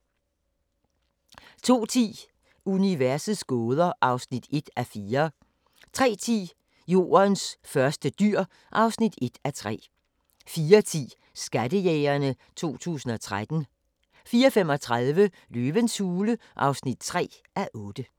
02:10: Universets gåder (1:4) 03:10: Jordens første dyr (1:3) 04:10: Skattejægerne 2013 04:35: Løvens hule (3:8)